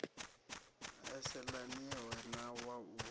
sa yelaniho na wa u